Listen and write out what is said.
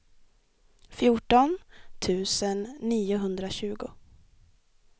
fjorton tusen niohundratjugo